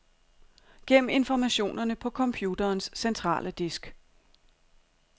Gem informationerne på computerens centrale disk.